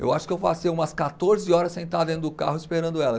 Eu acho que eu passei umas quatorze horas sentado dentro do carro esperando elas.